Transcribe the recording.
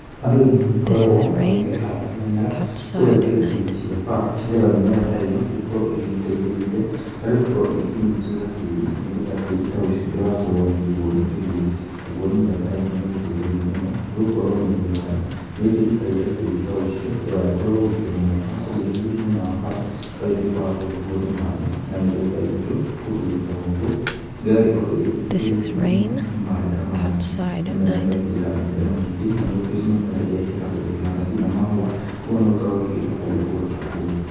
Andũ nĩ magĩkoragwo makĩhanda mĩmera kũrĩa ngĩrĩtĩ-inĩ cia bara nĩgetha mĩmera ta ĩno ĩgĩkorwo ĩgĩteithĩrĩrĩa harĩ gũkorwo ĩkĩnyitĩrĩra tĩri nĩgetha tĩri ta ũcio ndũgagĩkorwo ũgĩkũo nĩ kĩgũo, nayo mĩmera ta ĩno nĩ ĩgĩteithagia mũno nĩ gũkorwo mĩri yayo nĩ ĩkĩnyĩtagĩrĩra tĩri ta ũcio ndũgagĩkorwo ũgĩkĩmomoka ũgĩgĩthiĩ mwena wa bara ũgagĩtuĩka wa gũkũo nĩ maĩ na mĩgũnda itũ kũndũ ta gũkũ ĩgagĩkorwo ĩgĩthiĩ ĩkĩrĩkĩte mũno nĩ maĩ ta maya ,mĩmera ĩno ĩkĩrĩ ya mĩhĩrĩga mĩingĩ na nĩ gũkĩrĩ mĩmera ĩrĩa ĩkĩhandagwa ĩkĩhana nginya mahũa kogũo no ĩkorwo ĩgĩthakaria kũndũ ta kũu.